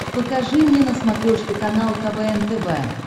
покажи мне на смотрешке канал квн тв